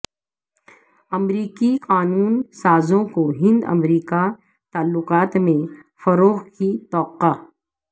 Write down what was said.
امریکی قانون سازوں کو ہند امریکہ تعلقات میں فروغ کی توقع